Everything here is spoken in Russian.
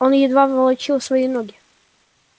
он едва волочил свои ноги